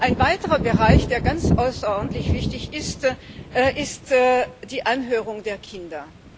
Ein weiterer Bereich, der ganz außerordentlich wichtig ist, ist die Anhörung der Kinder.